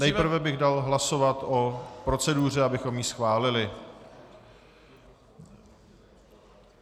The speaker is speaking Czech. Nejprve bych dal hlasovat o proceduře, abychom ji schválili.